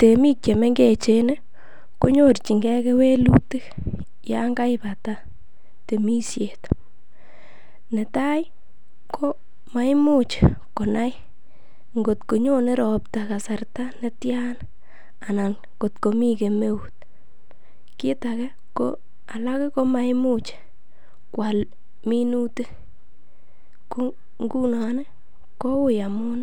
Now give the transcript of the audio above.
Temik che mengechen konyorjinge kewelutik yon kaibata temisiet. Netai ko maimuch konai ngotko nyone ropta kasarta ne tyan anan ngot komi kemeut. Kit age ko alak komaimuch koal minutik, ko ngunon kou amun